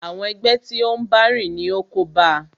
Àwọn ẹgbẹ́ tí o n bá rìn ní o kóba a.